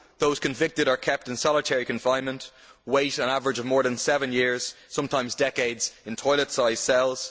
Those convicted are kept in solitary confinement and wait an average of more than seven years sometimes decades in toilet sized cells.